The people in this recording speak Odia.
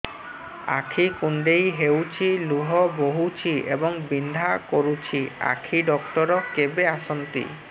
ଆଖି କୁଣ୍ଡେଇ ହେଉଛି ଲୁହ ବହୁଛି ଏବଂ ବିନ୍ଧା କରୁଛି ଆଖି ଡକ୍ଟର କେବେ ଆସନ୍ତି